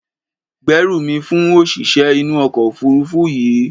Gbérù mi fún òṣìṣẹ́ inú ọkọ̀ òfuurufú yìí!